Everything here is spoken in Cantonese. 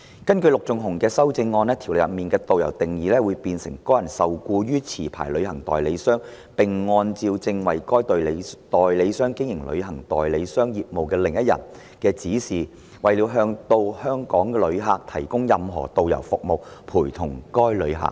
根據其修正案，《條例草案》中的"導遊"定義會變成"該人受僱於持牌旅行代理商，並按照正在為該代理商經營旅行代理商業務的另一人......的指示，為了向到港旅客提供任何導遊服務，陪同該旅客。